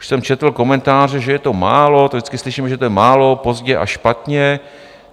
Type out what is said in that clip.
Už jsem četl komentáře, že je to málo, to vždycky slyšíme, že je to málo, pozdě a špatně.